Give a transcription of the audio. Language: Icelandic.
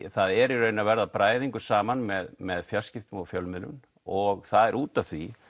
það er að verða bræðingur saman með með fjarskiptum og fjölmiðlum og það er út af því